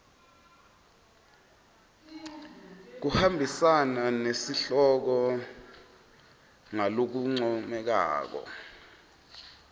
kuhambisana nesihloko ngalokuncomekako